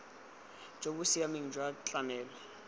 jo bo siameng jwa tlamelo